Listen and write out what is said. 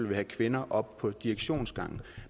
vil have kvinder op på direktionsgangen